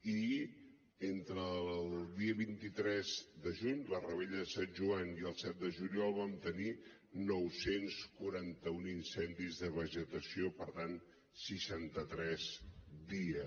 i entre el dia vint tres de juny la revetlla de sant joan i el set de juliol vam tenir nou cents i quaranta un incendis de vegetació per tant seixanta tres al dia